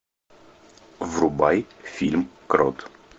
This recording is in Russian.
врубай фильм крот